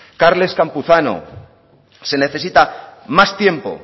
carles campuzano se necesita más tiempo